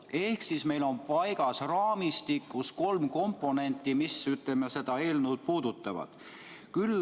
Ehk meil on raamistikus paigas kolm komponenti, mis seda eelnõu puudutavad.